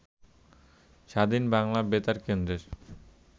স্বাধীন বাংলা বেতার কেন্দ্রের